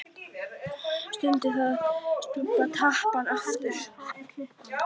Stundi og skrúfaði tappann á aftur.